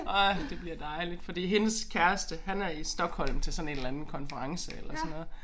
Åh det bliver dejligt fordi hendes kæreste han er i Stockholm til sådan en eller anden konference eller sådan noget